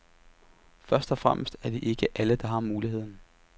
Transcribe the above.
Først og fremmest er det ikke alle, der har muligheden.